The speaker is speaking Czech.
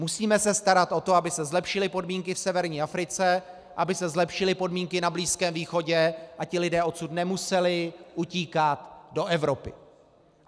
Musíme se starat o to, aby se zlepšily podmínky v severní Africe, aby se zlepšily podmínky na Blízkém východě a ti lidé odsud nemuseli utíkat do Evropy.